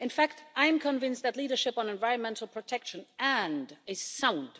In fact, I am convinced that leadership on environmental protection and a sound,